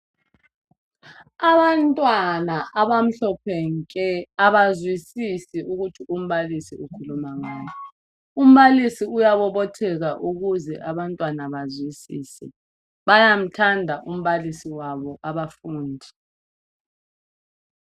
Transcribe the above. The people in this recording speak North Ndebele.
Abantwana abamhlophe nke abazwisisi ukuthi umbalisi ukhuluma ngani . Umbalisi uyabobotheka ukuze abantwana bazwisise. Bayamthanda umbalisi wabo abafundi .